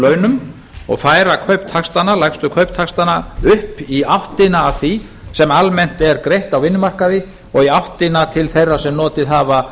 launum og færa lægstu kauptaxtana upp í áttina að því sem almennt er greitt á vinnumarkaði og í áttina til þeirra sem notið hafa